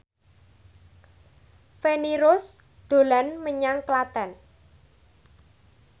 Feni Rose dolan menyang Klaten